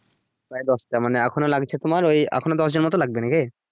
প্রায় দশটা মানে এখনো লাগছে তোমার ওই এখনো দশজন লাগবে নাকি